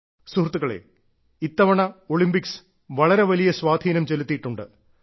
സുഹൃത്തുക്കളെ ഇത്തവണ ഒളിമ്പിക്സ് വളരെ വലിയ സ്വാധീനം ചെലുത്തിയിട്ടുണ്ട്